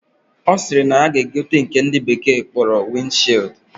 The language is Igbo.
Osiri na ya ga egote nke ndi bekee na akpo wind shield.